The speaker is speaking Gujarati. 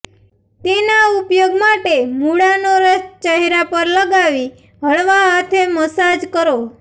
તેના ઉપયોગ માટે મૂળાનો રસ ચહેરા પર લગાવી હળવા હાથે મસાજ કરો